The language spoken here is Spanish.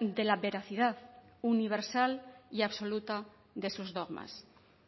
de la veracidad universal y absoluta de sus dogmas